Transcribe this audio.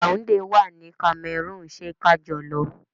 Yaunde wà ní Cameroon, ṣé kajọ lọ.